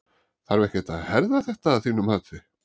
Þarf ekkert að herða þetta að þínu mati?